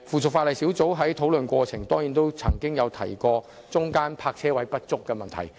此外，小組委員會在討論過程中亦曾提及泊車位不足的問題。